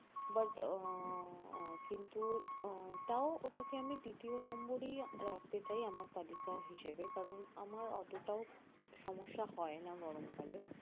but উহ কিন্তু উহ তাও ওটাকে আমি তৃতীয় নম্বরেই রাখতে চাই আমার তালিকা হিসেবে কারন আমার অতটাও সমস্যা হয় না গরমকালে